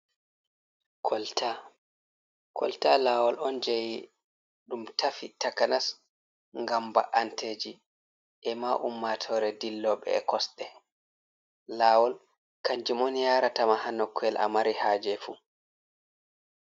Kolta, kolta lawol on jeyi ɗum tafi takanas gam ba’anteji, e ma ummatore dilloɓe e kosɗe, lawol kanjum on yaratama ha nokuyel a mari haje fuu.